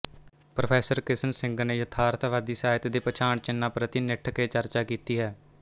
pro Kishan Singh ਨੇ ਯਥਾਰਥਵਾਦੀ ਸਾਹਿਤ ਦੇ ਪਛਾਣਚਿੰਨ੍ਹਾਂ ਪ੍ਰਤੀ ਨਿੱਠ ਕੇ ਚਰਚਾ ਕੀਤੀ ਹੈ